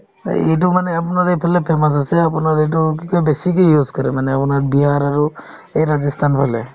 এইটোমানে আপোনাৰ এইফালে famous আছে আপোনাৰ এইটো কি কই বেছিকে use কৰে মানে বিহাৰ আৰু এই ৰাজস্থানফালে